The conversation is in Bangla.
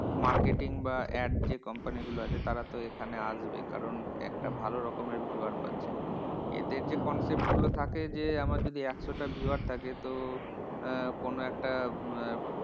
Marketing বা add যে কোম্পানিগুলো আছে তারা তো এখানে আসবেই কারণ একটা ভালো রকমের viewers পাচ্ছে। এদের যে concept গুলো থাকে যে, আমার যদি একশোটা viewer থাকে তো আহ কোনো একটা আহ